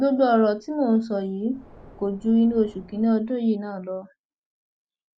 gbogbo ọrọ tí mò ń sọ yìí kò ju inú oṣù kínínní ọdún yìí náà lọ